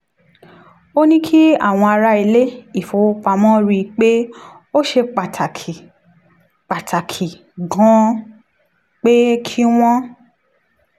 ó ní kí àwọn ará ilé-ifowopamọ rí i pé ó ṣe pàtàkì pàtàkì gan-an pé kí wọ́n